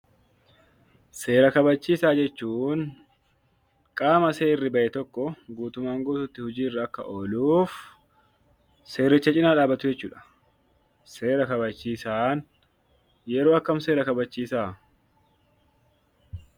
Qaama seera kabachiisu jechuun qaama seera bahe tokko guutummaan guutuutti Akka hojiirra ooluuf seericha cinaa dhaabbata jechuudha. Seera kabachiisaan yeroo akkamii seera kabachiisa?